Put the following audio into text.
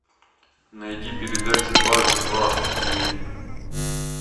найди передачу дважды два на ти ви